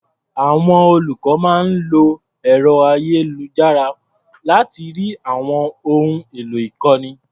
Àwọn olùkọ́ máa ń lo ẹ̀ro-ayélujára láti rí àwọn ohun èlò ìkọ́ni.